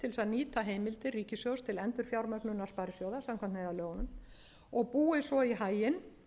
nýta heimildir ríkissjóðs til endurfjármögnunar sparisjóða samkvæmt neyðarlögunum og búið svo í haginn